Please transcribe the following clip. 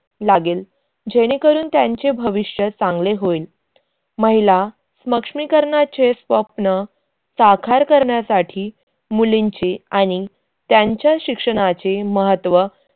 लागेल जेणेकरून त्यांचे भविष्य चांगले होईल. महिला स्मक्ष्मीकरनाचे स्वप्न साखार करण्यासाठी मुलींचे आणि त्यांच्या शिक्षणाचे महत्त्व